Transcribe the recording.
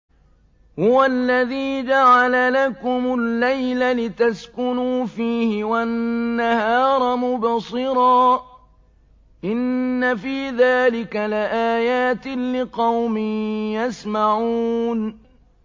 هُوَ الَّذِي جَعَلَ لَكُمُ اللَّيْلَ لِتَسْكُنُوا فِيهِ وَالنَّهَارَ مُبْصِرًا ۚ إِنَّ فِي ذَٰلِكَ لَآيَاتٍ لِّقَوْمٍ يَسْمَعُونَ